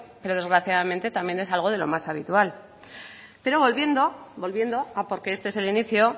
pero desgraciadamente también es algo de lo más habitual pero volviendo porque este es el inicio